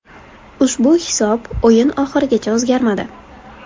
Ushbu hisob o‘yin oxirigacha o‘zgarmadi.